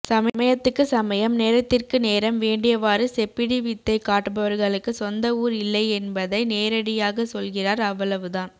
சமயத்துக்கு சமயம் நேரத்திற்கு நேரம் வேண்டியவாறு செப்பிடி வித்தை காட்டுபவர்களுக்கு சொந்த ஊர் இல்லையென்பதை நேரிடையாக சொல்கிறார் அவ்வளவுதான்